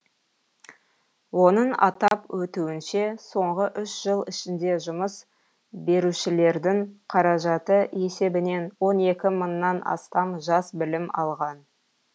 оның атап өтуінше соңғы үш жыл ішінде жұмыс берушілердің қаражаты есебінен он екі мыңнан астам жас білім алған